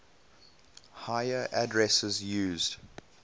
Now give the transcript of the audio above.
higher addresses used